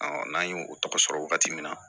n'an ye o tɔgɔ sɔrɔ wagati min na